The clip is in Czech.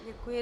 Děkuji.